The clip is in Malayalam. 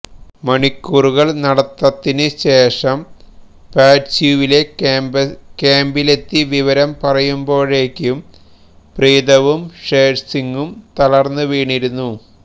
മണിക്കൂറുകള് നടത്തതിന് ശേഷം പാറ്റ്സ്യൂവിലെ ക്യാമ്പിലെത്തി വിവരം പറയുമ്പോഴേക്കും പ്രീതവും ഷേര്സിങ്ങും തളര്ന്ന് വീണിരുന്നു